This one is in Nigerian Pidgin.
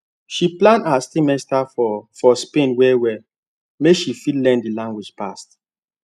she plan her semester for for spain well well make she fit learn the language pass